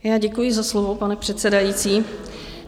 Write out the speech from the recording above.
Já děkuji za slovo, pane předsedající.